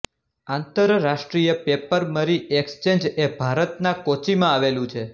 આંતર રાષ્ટ્રીય પેપરમરી એક્સચેન્જ એ ભારતના કોચીમાં આવેલું છે